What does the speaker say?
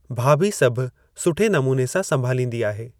भाभी सभु सुठे नमूने सां संभालींदी आहे।